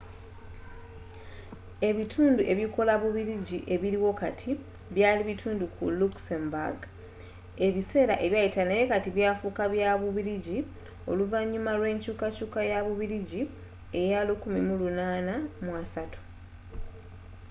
ebitundu ebikola bubiligi ebiliwo kati byaali bitundu ku luxembourg ebiseera ebyayita naye byafuuka bya bubiligi oluvanyuma lw'ekyukakyuuka ya bubiligi eya 1830